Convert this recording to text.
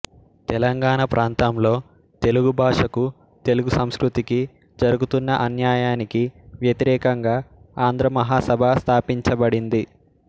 తెలంగాణ ప్రాంతంలో తెలుగు భాషకు తెలుగు సంస్కృతికి జరుగుతున్న ఆన్యాయానికి వ్యతిరేకంగా ఆంధ్రమహాసభ స్థాపించబడింది